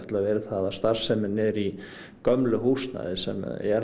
verið það að starfsemin er í gömlu húsnæði sem er